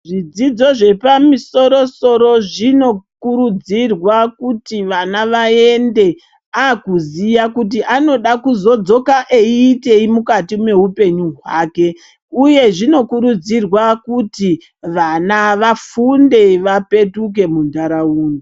Zvidzidzo zvepamusoro soro zvinokurudzirwa kuti vana vaende akuziya kuti anoda kuzodzoka eiitei mukati mweupenyu hwake , uye zvinokurudzirwa kuti vana vafunde vapetuke muntaraunda.